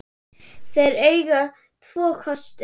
Þeir eiga tvo kosti.